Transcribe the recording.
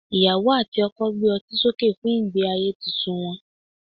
iyawo ati oko gbé otí soke fún ige ayé Titun wan